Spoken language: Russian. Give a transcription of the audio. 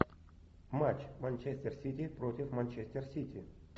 матч манчестер сити против манчестер сити